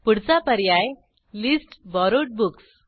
पुढचा पर्याय list borrowed books